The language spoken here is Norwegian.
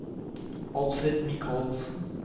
Alfred Mikalsen